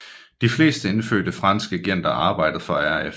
De fleste indfødte franske agenter arbejdede for RF